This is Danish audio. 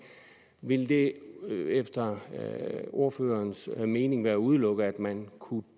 vil det efter ordførerens mening være udelukket at man kunne